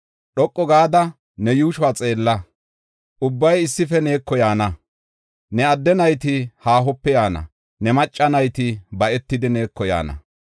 Dhoqu gada ne yuushuwa xeella; ubbay issife neeko yaana. Ne adde nayti haahope yaana; ne macca nayti ba7etidi neeko yaana.